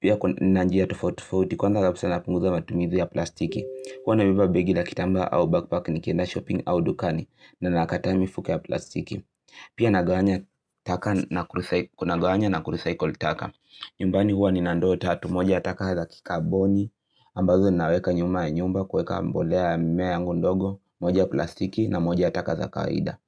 Pia ninanjia tofautofauti kwanza kabisa na punguza matumizi ya plastiki. Hua nabeba begi la kitambaa au backpack ni kienda shopping au dukani na nakataa mifuko ya plastiki. Pia nagawanya taka na kurecycle nagawanya na kurecycle taka. Nyumbani huwa ni nandoo tatu moja taka za kikaboni. Ambazo naweka nyuma ya nyumba kueka mbolea ya mimea yangu ndogo. Moja plastiki na moja yataka za kawaida.